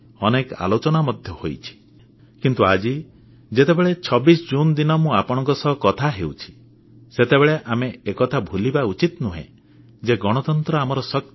ଅନେକ ଆଲୋଚନା ମଧ୍ୟ ହୋଇଛି କିନ୍ତୁ ଆଜି ଯେତେବେଳେ 26 ଜୁନ ଦିନ ମୁଁ ଆପଣମାନଙ୍କ ସହ କଥା ହେଉଛି ସେତେବେଳେ ଆମେ ଏକଥା ଭୁଲିବା ଉଚିତ ନୁହେଁ ଯେ ଗଣତନ୍ତ୍ର ଆମର ଶକ୍ତି